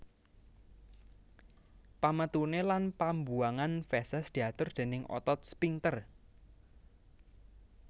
Pametuné lan pambuwangan feses diatur déning otot sphinkter